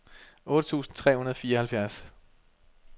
otte tusind tre hundrede og fireoghalvfjerds